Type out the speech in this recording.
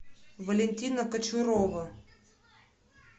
валентина кочурова